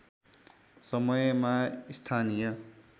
समयमा स्थानीय